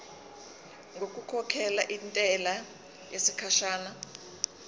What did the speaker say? ngokukhokhela intela yesikhashana